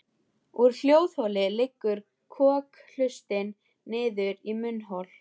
Úr hljóðholi liggur kokhlustin niður í munnhol.